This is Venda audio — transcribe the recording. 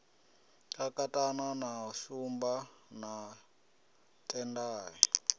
kakatana na shumba na tendai